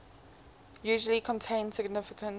usually contain significant